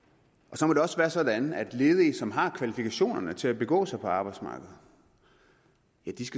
så må det også være sådan at ledige som har kvalifikationerne til at begå sig på arbejdsmarkedet